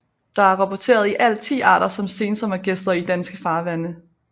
Der er rapporteret i alt 10 arter som sensommergæster i danske farvande